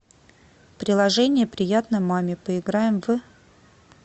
приложение приятно маме поиграем в